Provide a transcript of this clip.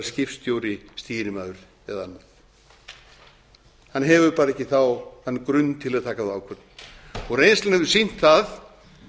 skipstjóri stýrimaður eða annað hann hefur bara ekki þann grunn til að taka þá ákvörðun reynslan hefur sýnt það